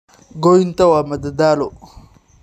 Goynta waa madadaalo.